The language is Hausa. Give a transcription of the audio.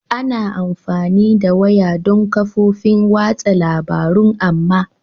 Ana amfani da wayar don kafofin watsa labarun amma